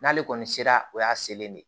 N'ale kɔni sera o y'a selen ne